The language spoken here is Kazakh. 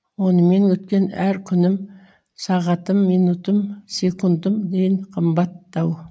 онымен өткен әр күнім сағатым минутым секундыммен қымбаттау